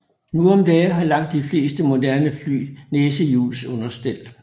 Nu om dage har langt de fleste moderne fly næsehjulsunderstel